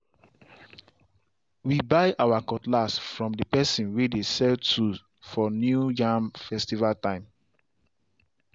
we buy our cutlass from the person way dey sell tools for new yam festival time.